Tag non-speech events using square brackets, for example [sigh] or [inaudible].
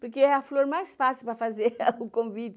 Porque é a flor mais fácil para fazer [laughs] o convite.